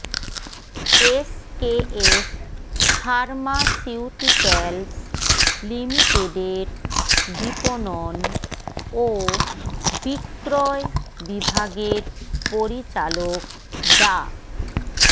SKF pharmaceuticals লিমিটেডের বিপণন ও বিক্রয় বিভাগের পরিচালক ডা